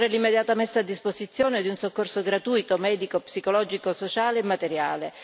Occorre l'immediata messa a disposizione di un soccorso gratuito, medico, psicologico, sociale e materiale.